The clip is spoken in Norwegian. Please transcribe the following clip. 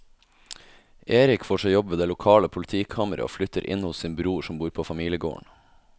Erik får seg jobb ved det lokale politikammeret og flytter inn hos sin bror som bor på familiegården.